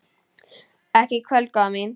Ekki í kvöld, góða mín.